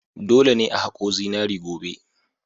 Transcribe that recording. Dole ne a haƙo zinari gobe!